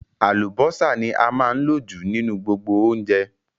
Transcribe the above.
Àlùbọ́sà ní a máa ń lò jù nínú gbogbo oúnjẹ